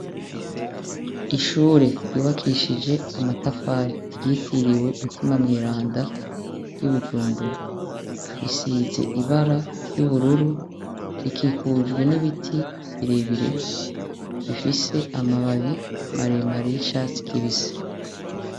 Ishuri ryubakishije amatafari ryitiriwe mutima mweranda riri ibujumbura risize ibara ry'ubururu rikikujwe n'ibiti birebire bifise amababi maremare y'icatsi kibisi.